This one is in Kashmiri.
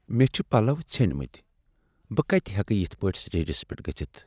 مےٚ چھ پلو ژھیٚنۍمٕتۍ۔ بہٕ کتہ ہیکہٕ یتھ پٲٹھۍ سٹیجس پیٹھ گٔژھتھ۔